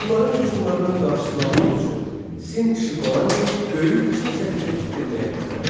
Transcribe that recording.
Hunların hücumlarının qarşısını almaq üçün Sin Şixuandi böyük Çin səddini tikdirməyə başladı.